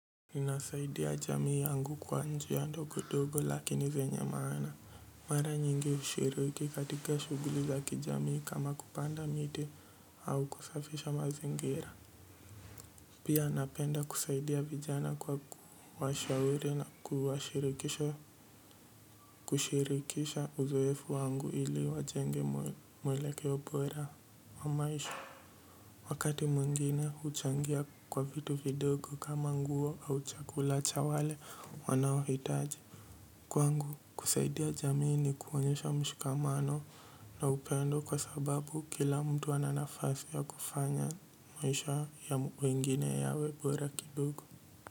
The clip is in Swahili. Ninasaidia jamii yangu kwa njia ndogo dogo lakini zenye maana mara nyingi ushiriki katika shuguli za kijamii kama kupanda miti au kusafisha mazingira. Pia napenda kusaidia vijana kwa kuwashauri na kuwashirikisha kushirikisha uzoefu wangu ili wajenge mwelekeo bora wa maisha wakati mwingine huchangia kwa vitu vidogo kama nguo au chakula cha wale wanaohitaji kwangu kusaidia jamii ni kuonyesha mshikamano na upendo kwa sababu kila mtu ana nafasi ya kufanya maisha ya wengine yawe bora kidogo.